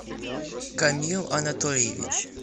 камил анатольевич